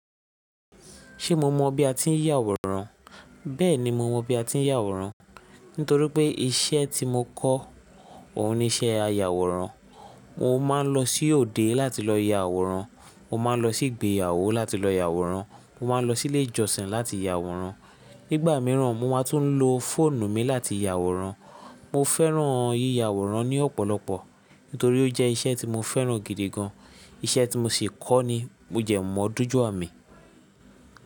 Ṣé mo mọ̀ bí a ti ń ya àwòrán? Bẹ́ẹ̀ni mo mọ̀ bí a ti ń ya àwòrán nítorí pé iṣẹ́ tí mo kọ́ òun ni iṣẹ́ ayàwòrán. Mo máa ń lọ sí òde láti lọ ya àwòrán, mo máa ń lọ sí igbeyawo láti lọ ya àwòrán, mo máa ń lọ sílé ìjọsìn láti ya àwòrán. Nígbà míràn mo máa tún lo fóònù mi láti ya àwòrán. Mo fẹ́ràn yíya àwòrán ní ọ̀pọ̀lọpọ̀ nítorí ó jẹ́ iṣẹ́ tí mo fẹ́ràn gidi gan. Iṣẹ́ tí mo sì kọ́ ni ó dẹ́ mọ́ doju ami.